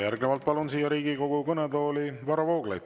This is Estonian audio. Järgnevalt palun Riigikogu kõnetooli Varro Vooglaiu.